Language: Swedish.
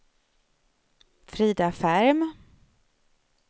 Frida Ferm